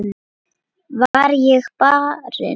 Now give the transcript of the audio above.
Var ég barinn?